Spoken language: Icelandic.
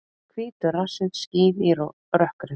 Hvítur rassinn skín í rökkrinu.